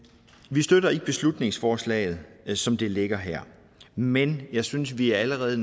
vi støtter ikke beslutningsforslaget som det ligger her men jeg synes at vi allerede